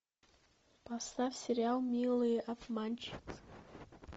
поставь сериал милые обманщицы